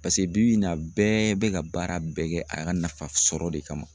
Paseke bibi in na bɛɛ bɛ ka baara bɛɛ kɛ a ka nafa sɔrɔ de kama